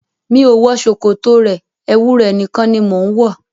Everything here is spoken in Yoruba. Mi ò wọ ṣòkòtò rẹ, ẹwu rẹ̀ nìkan ni mo ń wọ.